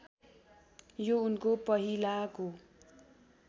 यो उनको पहिलाको